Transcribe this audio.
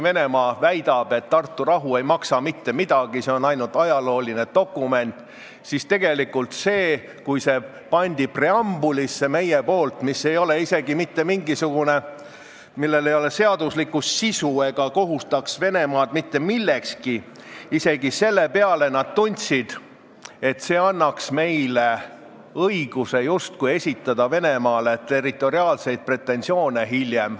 Venemaa väidab, et Tartu rahu ei maksa mitte midagi ja see leping on ainult ajalooline dokument, kuid kui me panime selle viite preambulisse, millel ei ole seaduslikku sisu ja mis ei kohustaks Venemaad mitte millekski, siis isegi selle peale nad tundsid, et see annaks meile justkui õiguse esitada neile hiljem territoriaalseid pretensioone.